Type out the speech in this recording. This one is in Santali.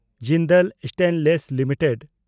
Jindal stainless limited